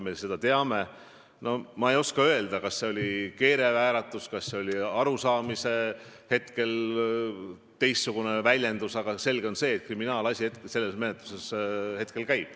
Ma ei oska öelda, kas see oli keelevääratus, kas see oli mingisugune teistsugune arusaamine, aga selge on, et kriminaalmenetlus selles asjas käib.